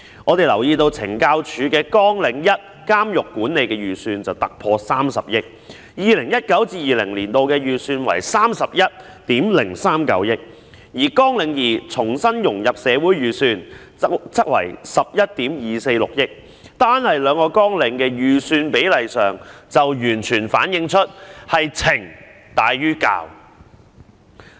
我們留意到，懲教署在綱領1監獄管理的預算突破了30億元，在 2019-2020 年度的預算達31億390萬元，而綱領2重新融入社會的預算則為11億 2,460 萬元，單看兩項綱領的預算比例，已經完全反映它是懲大於教的。